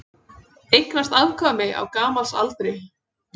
Eignaðist afkvæmi á gamalsaldri